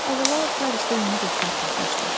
Əvvəla Parisdə yeni dostlar tapmışdı.